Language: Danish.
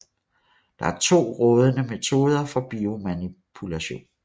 Der er to rådende metoder for biomanipulation